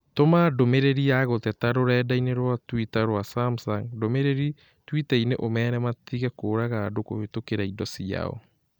Tũma ndũmĩrĩri ya gũteta rũrenda - ĩni rũa tũita rũa Samsung ndũmĩrĩri twitainĩ ũmeere matige kũũraga andũ kũhĩtũkĩra indo ciao.